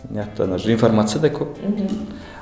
мияқтан уже информация да көп мхм